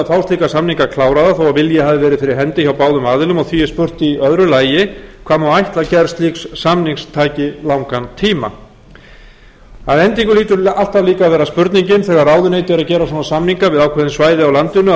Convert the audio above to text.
slíka samninga kláraða þó vilji hafi verið hendi hjá báðum aðilum og því er spurt í öðru lagi hvað má ætla að gerð slíks samnings taki langan tíma að endingu hlýtur alltaf líka að vera spurningin þegar ráðuneyti eru að gera svona samninga við ákveðin svæði á landinu að